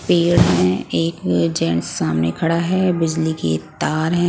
पेड़ है एक जेंट्स सामने खड़ा है मजली की एक तार है ।